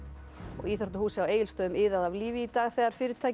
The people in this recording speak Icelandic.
íþróttahúsið á Egilsstöðum iðaði af lífi í dag þegar fyrirtæki